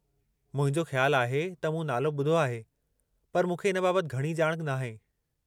मुंहिंजो ख़्यालु आहे त मूं नालो ॿुधो आहे, पर मूंखे इन बाबति घणी ॼाण नाहे।